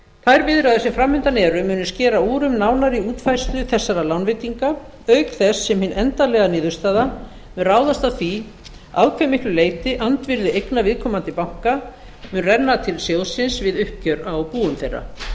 þær viðræður sem fram undan eru munu skera úr um nánari útfærslu þessara lánveitinga auk þess sem hin endanlega niðurstaða mun ráðast af því að hve miklu leyti andvirði eigna viðkomandi banka mun renna til sjóðsins við uppgjör á búum þeirra